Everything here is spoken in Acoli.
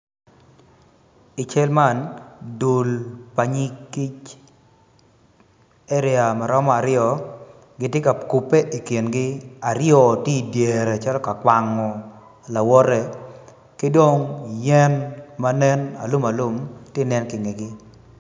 I cal man dul pa nyig kic area maromo aryo gitye ka kupe i kingi aryo tye i dyere cito ka kwano lawote kidong yen ma nen alumalum tye inge gi